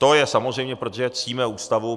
To je samozřejmé, protože ctíme Ústavu.